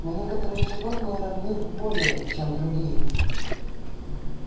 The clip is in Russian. но некоторые животные равны более чем другие